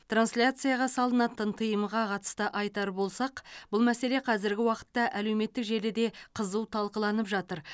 трансляцияға салынатын тыйымға қатысты айтар болсақ бұл мәселе қазіргі уақытта әлеуметтік желіде қызу талқыланып жатыр